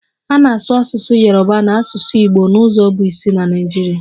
A na-asụ asụsụ Yoruba na asụsụ Igbo n'ụzọ bụ isi na Naịjirịa